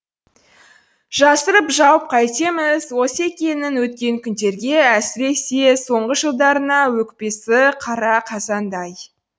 жасырып жауып қайтеміз осекеңнің өткен күндерге әсіресе соңғы жылдарына өкпесі қара қазандай